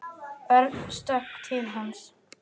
Örn stökk til hans.